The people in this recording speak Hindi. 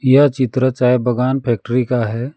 यह चित्र चाय बगान फैक्ट्री का है।